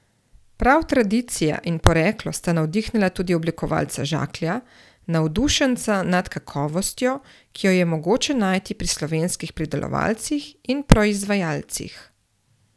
Prav tradicija in poreklo sta navdihnila tudi oblikovalca Žaklja, navdušenca nad kakovostjo, ki jo je mogoče najti pri slovenskih pridelovalcih in proizvajalcih.